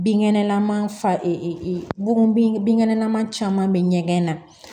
Binkɛnɛlaman fa bun binkɛnɛ man caman bɛ ɲɛgɛn na